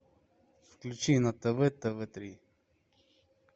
включи на тв тв три